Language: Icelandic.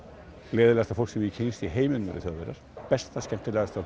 leiðinlegasta fólk sem ég kynnst í heiminum eru Þjóðverjar besta skemmtilegasta